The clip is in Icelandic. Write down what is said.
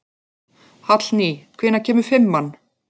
Hallný, hvenær kemur fimman?